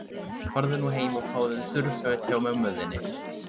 Farðu nú heim og fáðu þurr föt hjá mömmu þinni.